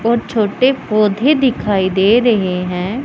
और छोटे पौधे दिखाई दे रहे हैं।